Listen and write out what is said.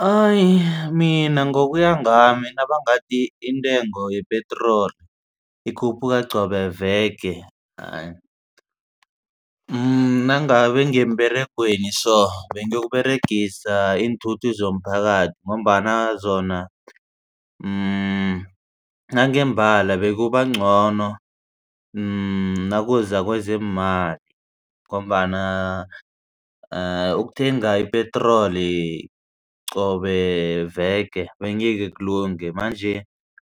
Hayi mina ngokuya ngami nabangathi intengo yepetroli ikhuphuka qobe veke hayi nangabe ngiya emberegweni so bengiyokuberegisa iinthuthi zomphakathi ngombana zona nangembala bekuyobangcono nakuza kwezeemali ngombana ukuthenga ipetroli qobe veke bengeke kulunge. Manje